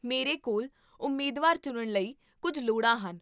ਮੇਰੇ ਕੋਲ ਉਮੀਦਵਾਰ ਚੁਣਨ ਲਈ ਕੁੱਝ ਲੋੜ੍ਹਾਂ ਹਨ